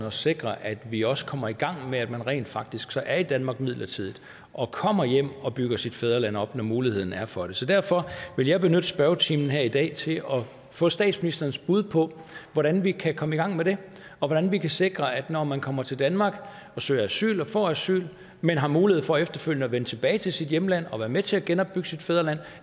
at sikre at vi også kommer i gang med at man rent faktisk så er i danmark midlertidigt og kommer hjem og bygger sit fædreland op når muligheden er for det så derfor vil jeg benytte spørgetimen her i dag til at få statsministerens bud på hvordan vi kan komme i gang med det og hvordan vi kan sikre at man når man kommer til danmark og søger asyl og får asyl men har mulighed for efterfølgende at vende tilbage til sit hjemland og være med til at genopbygge sit fædreland